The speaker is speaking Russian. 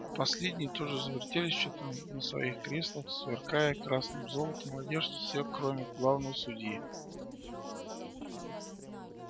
последние тоже завертелись на своих креслах сверкая красным золотом одежд все кроме главного судьи